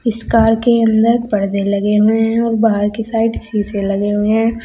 इस कार के अंदर परदे हुए लगे हैं और बाहर की साइड शीशे लगे हुए हैं।